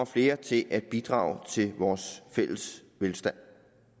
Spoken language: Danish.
flere til at bidrage til vores fælles velstand